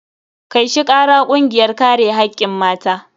Kai shi kara kungiyar kare hakkin mata.